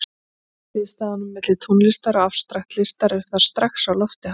Hliðstæðunum milli tónlistar og afstrakt listar er þar strax á lofti haldið.